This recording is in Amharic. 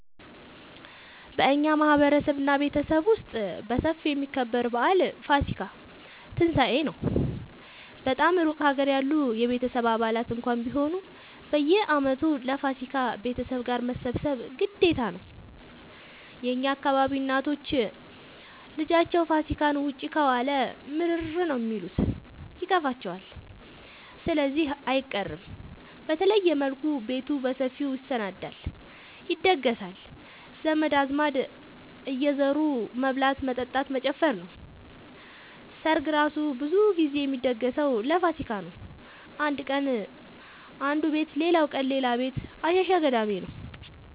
በእኛ ማህበረሰብ እና ቤተሰብ ውስጥ በሰፊው የሚከበረው በአል ፋሲካ(ትንሳኤ) ነው። በጣም እሩቅ ሀገር ያሉ የቤተሰብ አባላት እንኳን ቢሆኑ በየአመቱ ለፋሲካ ቤተሰብ ጋር መሰብሰብ ግዴታ ነው። የእኛ አካባቢ እናቶች ልጃቸው ፋሲካን ውጪ ከዋለ ምርር ነው የሚሉት ይከፋቸዋል ስለዚህ አይቀርም። በተለየ መልኩ ቤቱ በሰፊው ይሰናዳል(ይደገሳል) ዘመድ አዝማድ እየዙሩ መብላት መጠጣት መጨፈር ነው። ሰርግ እራሱ ብዙ ግዜ የሚደገሰው ለፋሲካ ነው። አንድ ቀን አነዱ ቤት ሌላቀን ሌላ ቤት አሸሸ ገዳሜ ነው።